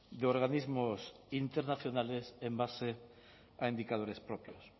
de organismos internacionales en base a indicadores propios